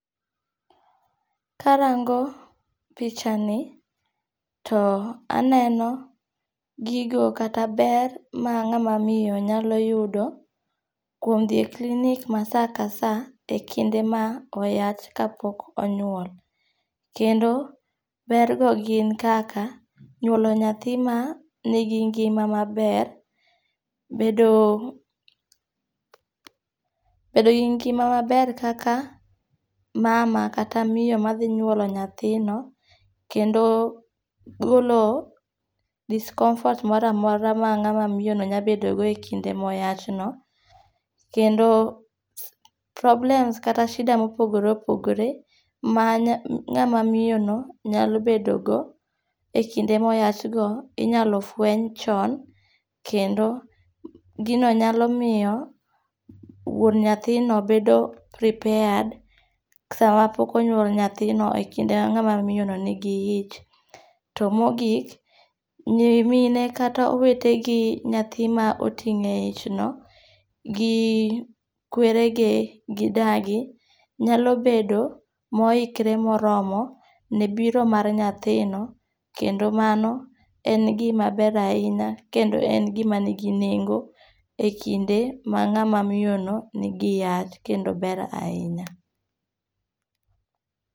Karango pichani, to aneno, gigo kata ber ma ngáma miyo nyalo yudo, kuom dhi e clinic ma saa ka saa e kinde ma oyach, kapok onyuol. Kendo ber go gin kaka, nyuolo nyathi ma nigi ngima maber, bedo bedogi ngima maber kaka mama kata miyo madhi nyuolo nyathino. Kendo golo discomfort moro a mora ma ngama miyono nya bedo go e kinde ma oyachno. Kendo problems kata shida mopogore opogore ma ngáma miyono nyalo bedo go, e kinde ma oyach go, inyalo fueny chon. Kendo gino nyalo miyo, wuon nyathino bedo prepared sama pok onyuol nyathino, e kinde ma ngáma miyono nigi ich. To mogik, nyimine, kata owetegi nyathi ma oting' e ichno, gi kwerege, gi dagi, nyalo bedo moikre moromo, ne biro mar nyathino, kendo mano en gima ber ahinya, kendo en gima nigi nengo, e kinde ma ngáma miyono ni gi yach, kendo ber ahinya.